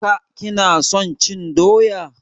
ka / ki na son cin doya?